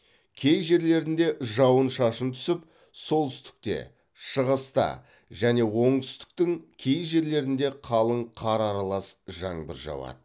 кей жерлерінде жауын шашын түсіп солтүстікте шығыста және оңтүстіктің кей жерлерінде қалың қар аралас жаңбыр жауады